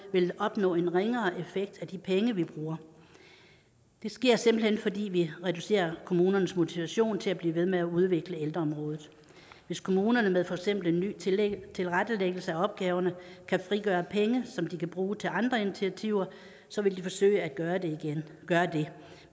vil opnå en ringere effekt af de penge vi bruger det sker simpelt hen fordi vi reducerer kommunernes motivation til at blive ved med at udvikle ældreområdet hvis kommunerne med for eksempel en ny tilrettelæggelse af opgaverne kan frigøre penge som de kan bruge til andre initiativer vil de forsøge at gøre det